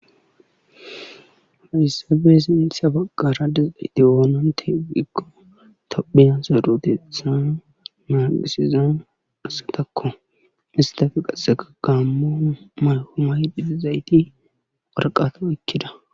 Hayssappe sinththa bagara diyageti oonantte giikko tophiya sarotetha nagisiza asatakko. isttappe qassekka gaamo mayo mayidi dizayti waraqata oykkida